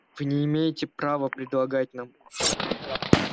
вы не имеете права предлагать нам